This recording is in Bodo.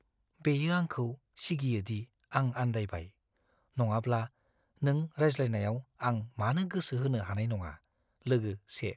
बेयो आंखौ सिगियो दि आं आन्दायबाय, नङाब्ला, नों रायज्लायनायाव आं मानो गोसो होनो हानाय नङा? (लोगो 1)